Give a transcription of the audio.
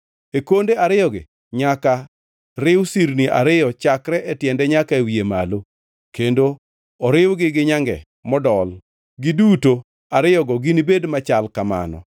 E konde ariyogi nyaka riw sirni ariyo chakre e tiende nyaka e wiye malo, kendo oriwgi gi nyange modol, giduto ariyogo ginibed machal kamano.